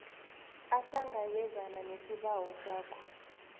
ahlangabezane nesibawo sakho